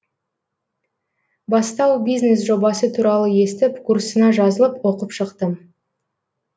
бастау бизнес жобасы туралы естіп курсына жазылып оқып шықтым